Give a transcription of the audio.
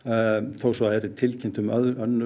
þó svo það væri tilkynnt um önnur